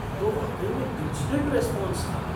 यह तो वाकई में इन्सटेंट रेस्पॉन्स था!